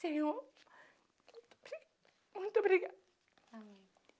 Senhor, muito obri muito obrigada. Amém